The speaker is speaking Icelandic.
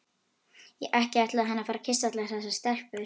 Ekki ætlaði hann að fara að kyssa allar þessar stelpur.